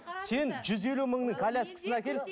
сен жүз елу мыңның коляскасын әкел